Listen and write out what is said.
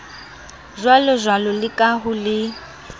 jwalojwalo le ha ho le